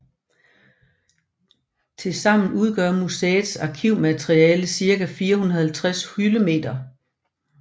Til sammen udgør museets arkivmateriale ca 450 hyldemeter